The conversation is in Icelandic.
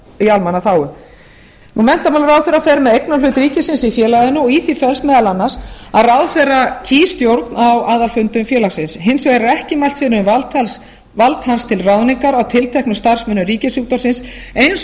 í almannaþágu menntamálaráðherra fer með eignarhlut ríkisins í félaginu og í því felst meðal annars að ráðherra kýs stjórn á aðalfundum félagsins hins vegar er ekki mælt fyrir um vald hans til ráðningar á tilteknum starfsmönnum ríkisútvarpsins eins og nú